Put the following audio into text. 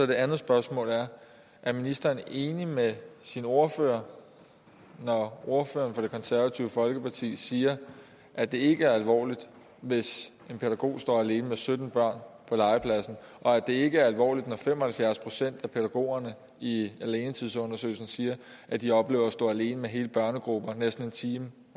det andet spørgsmål er er ministeren enig med sin ordfører når ordføreren for det konservative folkeparti siger at det ikke er alvorligt hvis en pædagog står alene med sytten børn på legepladsen og at det ikke er alvorligt når fem og halvfjerds procent af pædagogerne i alenetidsundersøgelsen siger at de oplever at stå alene med hele børnegrupper næsten en time